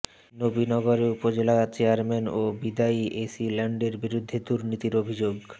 নবীনগরে উপজেলা চেয়ারম্যান ও বিদায়ী এসি ল্যান্ডের বিরুদ্ধে দুর্নীতির অভিযোগ